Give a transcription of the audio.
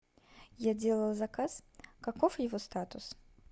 я делала заказ каков его статус